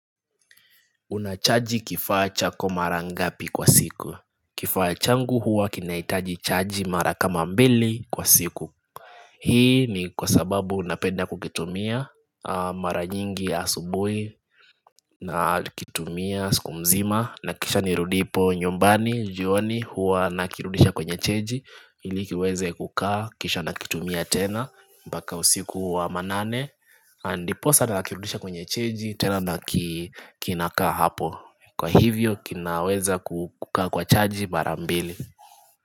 Unachaji kifaa chako mara ngapi kwa siku. Kifaa changu huwa kinahitaji chaji mara kama mbili kwa siku. Hii ni kwa sababu napenda kukitumia mara nyingi asubuhi nakitumia siku mzima na kisha ni rudipo nyumbani jioni huwa na kirudisha kwenye cheji ili kiweze kukaa kisha nakitumia tena mpaka usiku wa manane ndiposa tena nakirudisha kwenye cheji tena na kinakaa hapo. Kwa hivyo kinaweza kukaa kwa chaji mara mbili.